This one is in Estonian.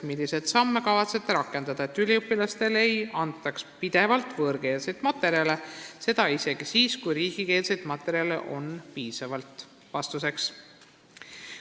Milliseid samme kavatsete rakendada, et üliõpilastele ei antaks pidevalt võõrkeelseid materjale, seda isegi siis, kui riigikeelseid materjale on piisavalt?